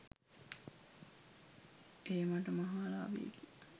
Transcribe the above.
එය මට මහා ලාභයකි